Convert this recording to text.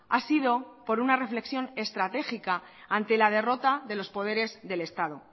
ha sido por una reflexión estratégica ante la derrota de los poderes del estado